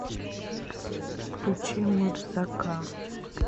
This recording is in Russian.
включи мырзака